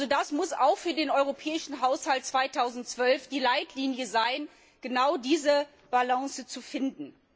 Es muss auch für den europäischen Haushalt 2012 die Leitlinie sein, genau diese Balance zu finden.